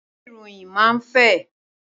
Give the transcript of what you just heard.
Ìwé ìròyìn máa ń fẹ̀